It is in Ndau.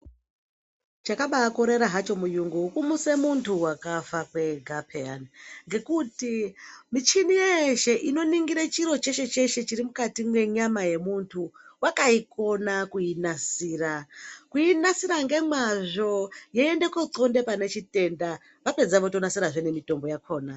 Chakabaakorera hacho muyungu kumutse muntu wakafa kwega peyani. Ngekuti michini yeeshe inoningire chiro cheshe-cheshe chiri mukati mwenyama yemuntu wakaikona kuinasira. Kuinasira ngemazvo yeiende kooixonda pane chitenda. Vapedza votonasirazve ngemitombo yakona.